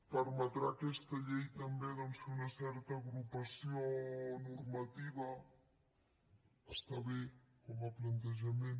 permetrà aquesta llei també doncs fer una certa agrupació normativa està bé com a plantejament